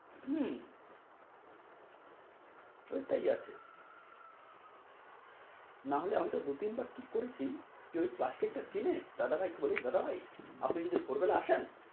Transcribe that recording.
হম ওইটাই আছে না হলে আমি তো দু-তিন বার ঠিক করেছি কি ওই কি ওই প্লাষ্টিক তা কিনে দাদাভাই কে বলছি দাদাভাই আপনি যদি ভোর বেলা আসেন,